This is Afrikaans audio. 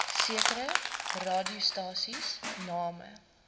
sekere radiostasies name